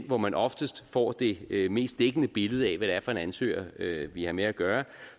hvor man oftest får det det mest dækkende billede af hvad det er for en ansøger vi har med at gøre